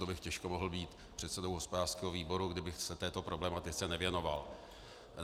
To bych těžko mohl být předsedou hospodářského výboru, kdybych se této problematice nevěnoval.